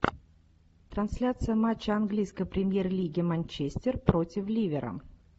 трансляция матча английской премьер лиги манчестер против ливера